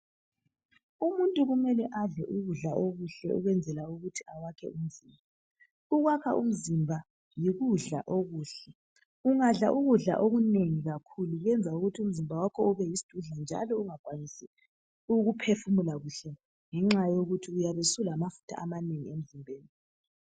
Umuntu kumele adle ukudla okuhle ukwenzela ukuthi awake umzimba. Ukwaka umzimba yikudla okuhle. Ungadla ukudla okunengi kakhulu kuyenza ukuthi umzimba wakho ube yisdudla njalo ungakwanisi ukuphefumula kuhle ngenxa yokuthi uyabe usulamafutha amanengi emzimbeni.